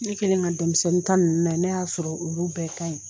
Ne kɛlen ka denmisɛnnin ta nunnu nayɛɛ ne y'a sɔrɔ olu bɛɛ ka ɲi.